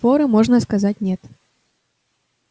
форы можно сказать нет